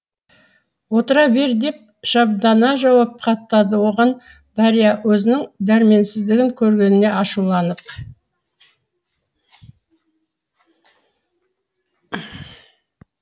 отыра бер деп шамдана жауап қатады оған дарья өзінің дәрменсіздігін көргеніне ашуланып